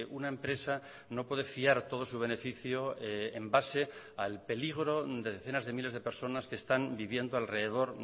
una empresa no puede fiar todo su beneficio en base al peligro de decenas de miles de personas que están viviendo alrededor